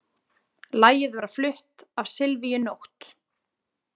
Lagið var flutt af Silvíu Nótt.